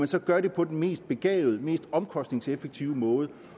så gør det på den mest begavede mest omkostningseffektive måde